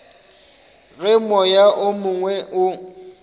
ge moya o mongwe o